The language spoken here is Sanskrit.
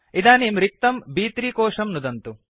इदानीं रिक्तं ब्3 कोशं नुदन्तु